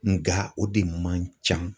Nga o de man ca.